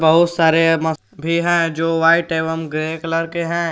बहुत सारे है जो वाइट एवं ग्रे कलर के हैं।